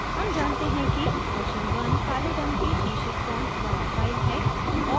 हम जानते हैं कि version one काले रंग के शीर्षक font वाली file है